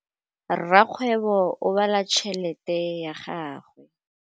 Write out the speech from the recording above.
Rakgwêbô o bala tšheletê ya gagwe.